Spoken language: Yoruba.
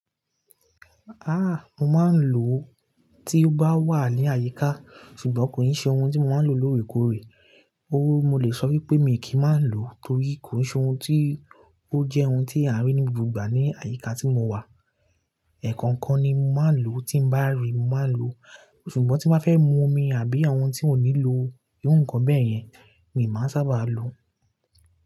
Ah! Mo máa ń lo tí ó bá wà ní àyíká, ṣùgbọ́n kò ì ṣe ohun tí mo máa ń lo lóòrèkóòrè. Óru mo le sọ wípé mi kì í máa ń lò torí kò ṣe ohun tí ó jẹ́ ohun tí a rí ní gbogbo ìgbà ní àyíká tí mo wà. Ẹ̀ẹ̀kọ̀ńkan ni mo máa ń lò tí ń bá rí mo máa ń lò, ṣùgbọ́n tí mọ́ bá fẹ́ mu omi àbí àwọn ohun tí ò ní lo irú nǹkan bẹ́ẹ̀ yẹn, mi n máa sábà lo.